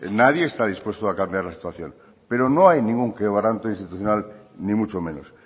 nadie está dispuesto a cambiar la situación pero no hay ningún quebrante institucional ni mucho menos